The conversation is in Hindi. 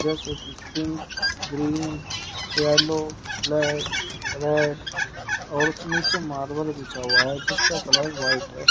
Pink green yellow black red और उस नीचे मार्बल बिछा हुआ है जिसका कलर व्हाइट है।